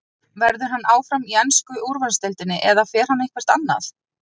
Verður hann áfram í ensku úrvalsdeildinni eða fer hann eitthvert annað?